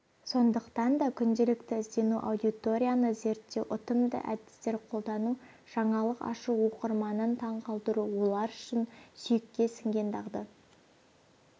сондықтан да күнделікті іздену аудиторияны зерттеу ұтымды әдістер қолдану жаңалық ашу оқырманын таңқалдыру олар үшін сүйекке сіңген дағды